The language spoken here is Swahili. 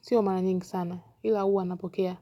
sio mara nyingi sana, ila huwa napokea.